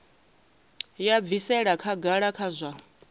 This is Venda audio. ya bvisela khagala kha zwa